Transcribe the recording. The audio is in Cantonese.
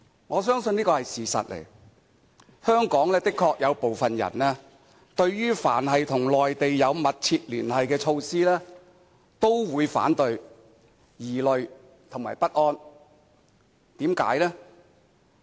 我相信這個是事實，香港的確有部分人對於凡是與內地有密切聯繫的措施，都會反對，並感到疑慮及不安。